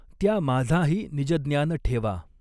त्या माझाही निजज्ञानठेवा।